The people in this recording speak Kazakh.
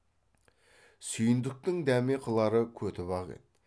сүйіндіктің дәме қылары көтібақ еді